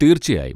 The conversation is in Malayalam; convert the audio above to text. തീർച്ചയായും!